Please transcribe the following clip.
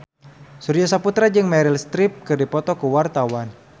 Surya Saputra jeung Meryl Streep keur dipoto ku wartawan